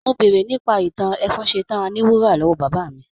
Mo béèrè nípa ìtàn ẹfúnṣtan àní wúrà lọ́wọ́ bàbá mi